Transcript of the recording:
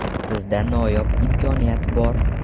Sizda noyob imkoniyat bor!